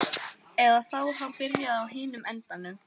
Eða þá hann byrjaði á hinum endanum.